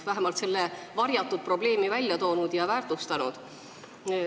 Vähemalt on see seni nagu varjatud probleem välja toodud ja teema väärtustatud.